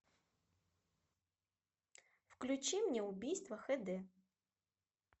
включи мне убийство хд